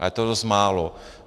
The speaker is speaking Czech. Ale to je dost málo.